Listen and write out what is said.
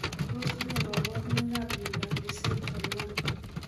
Tos ne kaborunoikab miondop lissencephaly 1?